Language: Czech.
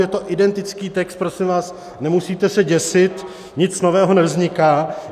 Je to identický text, prosím vás, nemusíte se děsit, nic nového nevzniká.